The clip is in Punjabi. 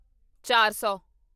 ਚਾਰ ਸੌ